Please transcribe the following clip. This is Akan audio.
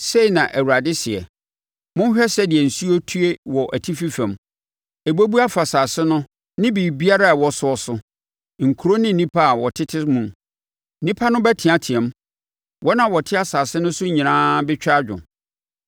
Sei na Awurade seɛ: “Monhwɛ sɛdeɛ nsuo retue wɔ atifi fam; ɛbɛbu afa asase no ne biribiara a ɛwɔ soɔ so, nkuro no ne nnipa a wɔtete mu. Nnipa no bɛteateam; wɔn a wɔte asase no so nyinaa bɛtwa adwo